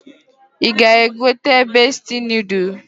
I ga egote Bestie nodul.